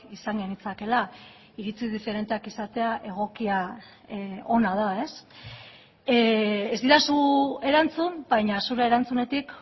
izan genitzakeela iritzi diferenteak izatea egokia ona da ez didazu erantzun baina zure erantzunetik